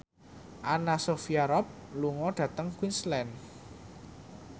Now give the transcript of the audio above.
Anna Sophia Robb lunga dhateng Queensland